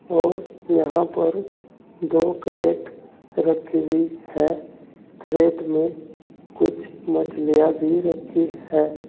और यहां पर दो क्रेट रखी हुई है क्रेट में कुछ मछलियां भी रखी है।